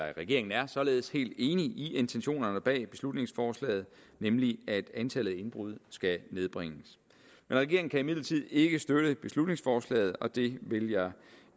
regeringen er således helt enig i intentionerne bag beslutningsforslaget nemlig at antallet af indbrud skal nedbringes men regeringen kan imidlertid ikke støtte beslutningsforslaget og det vil jeg